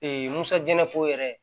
musajalafo yɛrɛ